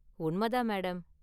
உண்மை தான், மேடம்.